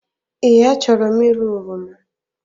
Ee, a chọrọ m ịra oroma